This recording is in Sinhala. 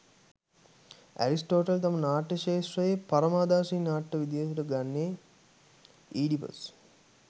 ඇරිස්ටෝටල් තම නාට්‍ය ක්ෂේත්‍රයේ පරමාදර්ශී නාට්‍ය විදිහට ගන්නේ ඊඩිපස්